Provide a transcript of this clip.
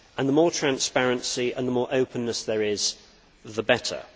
The more transparency and the more openness there is the better.